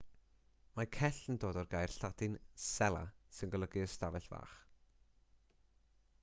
mae cell yn dod o'r gair lladin cella sy'n golygu ystafell fach